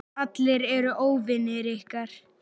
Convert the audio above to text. Allir eru óvinir ykkar.